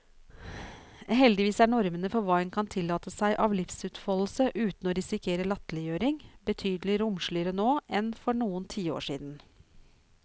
Heldigvis er normene for hva en kan tillate seg av livsutfoldelse uten å risikere latterliggjøring, betydelig romsligere nå enn for noen tiår siden.